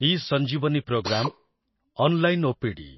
eSanjeevani programme ,online OPD